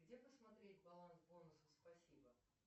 где посмотреть баланс бонусов спасибо